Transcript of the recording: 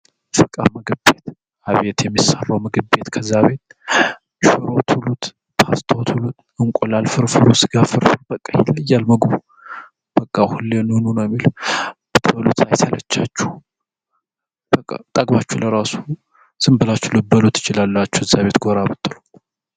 ፈቃ መግቤት አብየት የሚሳራው መግቤት ከዚያቤት ሽሮት ሁሉት ፖስተዎት ሁሉት እንቆላልፍር ፍሩስጋፍር በቀ ሂለእያልመጉቡ በቃ ሁልንኑነሚል ተሉት አይተለቻች በጠግባችሁ ለራሱ ስንብላችሉ በሉት ይችላላች እዚቤት ጎራ ብትሉ